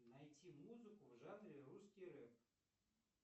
найти музыку в жанре русский рэп